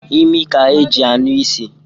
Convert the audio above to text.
Imi ka e ji anụ isi.